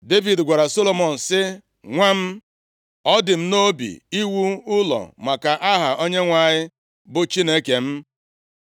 Devid gwara Solomọn sị, “Nwa m, ọ dị m nʼobi + 22:7 Maọbụ, ọ gụrụ m agụụ iwu ụlọ maka aha Onyenwe anyị bụ Chineke m,